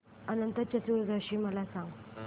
अनंत चतुर्दशी मला सांगा